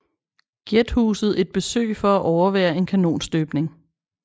Giethuset et besøg for at overvære en kanonstøbning